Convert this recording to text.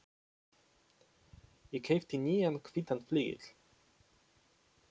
Ég keypti nýjan hvítan flygil.